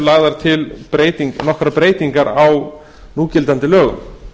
lagðar til nokkrar breytingar á núgildandi lögum